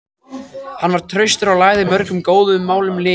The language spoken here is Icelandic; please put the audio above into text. Hann var traustur og lagði mörgum góðum málum lið.